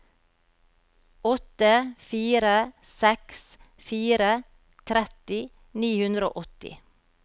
åtte fire seks fire tretti ni hundre og åtti